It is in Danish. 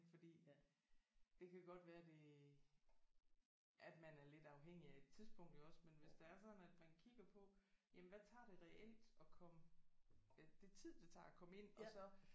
Fordi det kan godt være det at man er lidt afhængig af et tidspunkt iggås men hvis det er sådan at man kigger på jamen hvad tager det reelt at komme det tid det tager at komme ind og så